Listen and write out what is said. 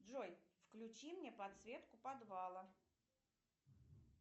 джой включи мне подсветку подвала